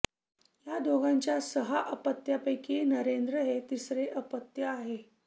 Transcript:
या दोघांच्या सहा अपत्यांपैकी नरेंद्र हे तिसरे अपत्य आहे